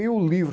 E o livro?